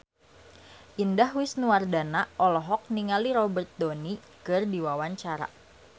Indah Wisnuwardana olohok ningali Robert Downey keur diwawancara